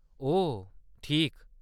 ओह ठीक।